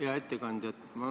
Hea ettekandja!